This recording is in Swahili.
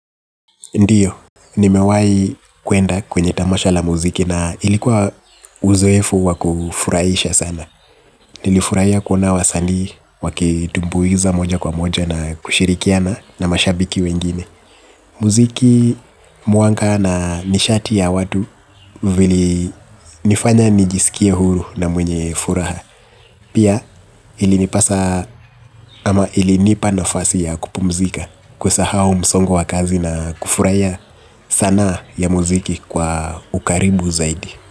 Ndiyo, nimewahi kuenda kwenye tamasha la muziki na ilikuwa uzoefu wa kufurahisha sana. Nilifurahia kuona wasani wakitumbuiza moja kwa moja na kushirikiana na mashabiki wengine. Muziki mwanga na nishati ya watu vili nifanya nijisikie huru na mwenye furaha. Pia ilinipasa ama ilinipa nafasi ya kupumzika kusahau msongo wa kazi na kufurahia sanaa ya muziki kwa ukaribu zaidi.